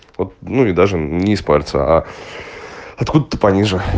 вот ну и даже не из пальца а откуда-то пониже